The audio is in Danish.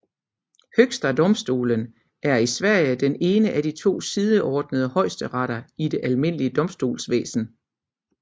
Högsta domstolen er i Sverige den ene af de to sideordnede højesteretter i det almindelige domstolsvæsen